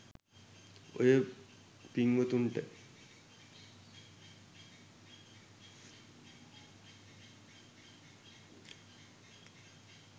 ඔය පිංවතුන්ට